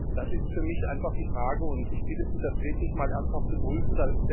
Das ist für mich einfach die Frage, und ich bitte Sie, das wirklich mal ernsthaft zu prüfen.